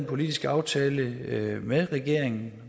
politisk aftale med regeringen